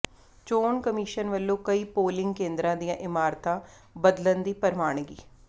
ਚੋਣ ਕਮਿਸ਼ਨ ਵਲੋਂ ਕਈ ਪੋਲਿੰਗ ਕੇਂਦਰਾਂ ਦੀਆਂ ਇਮਾਰਤਾਂ ਬਦਲਣ ਦੀ ਪ੍ਰਵਾਨਗੀ